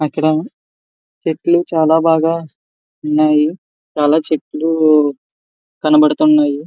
అక్కడ చెట్లు చాలా బాగా ఉన్నాయి. చాలా చెట్లు కనబడుతున్నాయి.